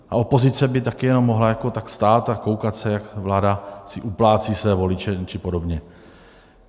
A opozice by taky jenom mohla tak stát a koukat se, jak si vláda uplácí své voliče či podobně.